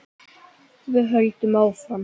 Við höldum áfram.